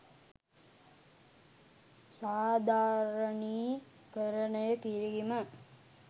සාධාරණීකරණය කිරීම.